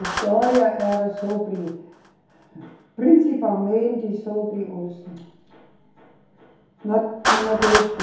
História era sobre, principalmente sobre os no, do Nordeste.